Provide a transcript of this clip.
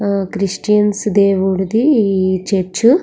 ఆ క్రిస్టియన్స్ దేవుడిది ఈ చర్చి --